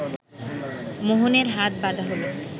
মোহনের হাত বাঁধা হলো